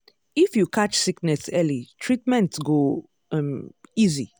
if you catch sickness early treatment go um easy.